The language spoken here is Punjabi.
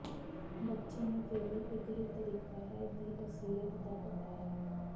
ਬੱਚੇ ਨੂੰ ਕੇਵਲ ਇੱਕ ਹੀ ਤਰੀਕਾ ਹੈ ਦੀ ਅਸਲੀਅਤ ਦਾ ਪਤਾ ਹੈ